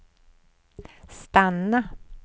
stanna